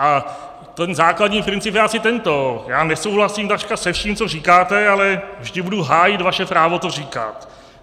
A ten základní princip je asi tento: já nesouhlasím takřka se vším, co říkáte, ale vždy budu hájit vaše právo to říkat.